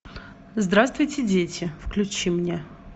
здравствуйте дети включи мне